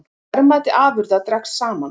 Verðmæti afurða dregst saman